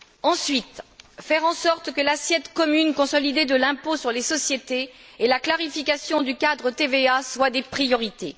Ensuite, faire en sorte que l'assiette commune consolidée de l'impôt sur les sociétés et la clarification du cadre TVA soient des priorités.